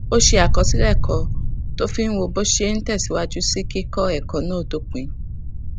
ó ṣe àkọsílè kan tó fi ń wo bó ṣe ń tèsíwájú sí kíkó èkó náà dópin